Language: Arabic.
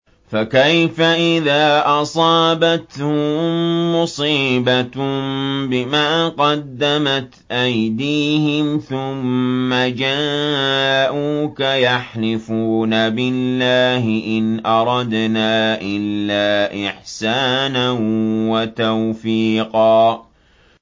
فَكَيْفَ إِذَا أَصَابَتْهُم مُّصِيبَةٌ بِمَا قَدَّمَتْ أَيْدِيهِمْ ثُمَّ جَاءُوكَ يَحْلِفُونَ بِاللَّهِ إِنْ أَرَدْنَا إِلَّا إِحْسَانًا وَتَوْفِيقًا